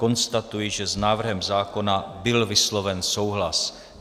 Konstatuji, že s návrhem zákona byl vysloven souhlas.